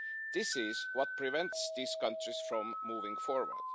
This is what prevents these countries from moving forward.